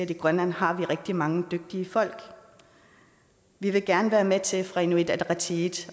i grønland har rigtig mange dygtige folk vi vil gerne være med til fra inuit ataqatigiits